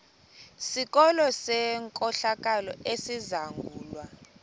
sikolo senkohlakalo esizangulwa